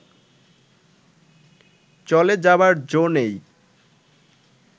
চ’লে যাবার জো নেই